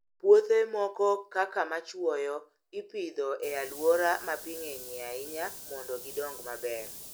Puothe moko kaka machuoyo, ipidho e alwora ma pi ng'enyie ahinya mondo gidong maber.